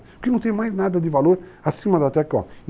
Porque não tem mais nada de valor acima da terra para homem.